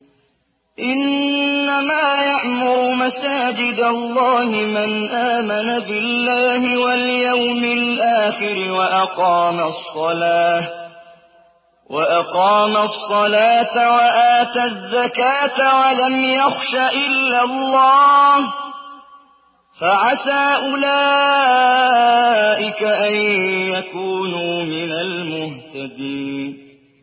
إِنَّمَا يَعْمُرُ مَسَاجِدَ اللَّهِ مَنْ آمَنَ بِاللَّهِ وَالْيَوْمِ الْآخِرِ وَأَقَامَ الصَّلَاةَ وَآتَى الزَّكَاةَ وَلَمْ يَخْشَ إِلَّا اللَّهَ ۖ فَعَسَىٰ أُولَٰئِكَ أَن يَكُونُوا مِنَ الْمُهْتَدِينَ